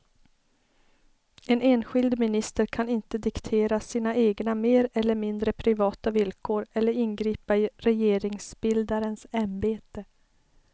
En enskild minister kan inte diktera sina egna mer eller mindre privata villkor eller ingripa i regeringsbildarens ämbete.